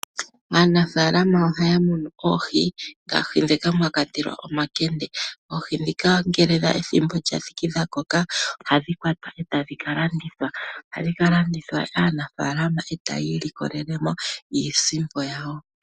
Aanafaalama ohaya munu oohi dhoka mwakwatelwa omankende, oohi dhika ngele ethimbo lyathiki dha koka, ohadhi kwata etadhi kalandithwa kaanafaalama etayi likolele mo iisimpo yawo.